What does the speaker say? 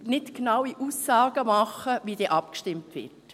Deshalb kann ich nicht genaue Aussagen machen, wie abgestimmt wird.